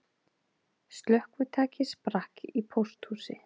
Slökkvitæki sprakk í pósthúsi